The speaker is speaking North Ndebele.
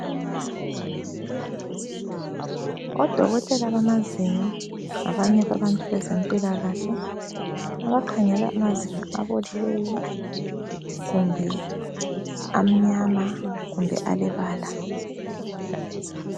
Odokotela bamazinyo ngabanye babantu bezempilakahle abakhangela amazinyo abolileyo ,kumbe amnyama kumbe alebala